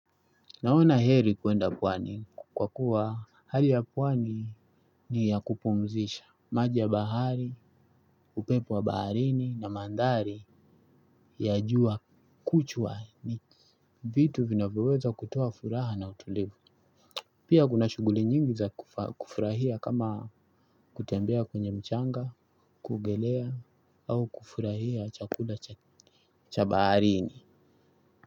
Naona heri kwenda pwani kwa kuwa hali ya pwani ni ya kupumzisha. Maji ya bahari, upepo wa baharini na mandhari ya jua kuchwa ni vitu vinavyoweza kutoa furaha na utulivu. Pia kuna shughuli nyingi za kufurahia kama kutembea kwenye mchanga, kuogelea au kufurahia chakula cha baharini.